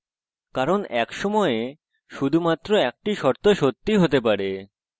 কারণ এক সময়ে শুধুমাত্র একটি শর্ত সত্যি হতে পারে